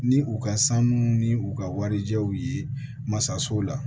Ni u ka sanu ni u ka warijaw ye masa sow la